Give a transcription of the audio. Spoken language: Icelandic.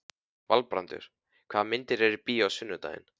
Valbrandur, hvaða myndir eru í bíó á sunnudaginn?